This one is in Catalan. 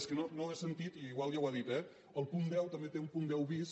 és que no ho he sentit i igual ja ho ha dit eh el punt deu també té un punt deu bis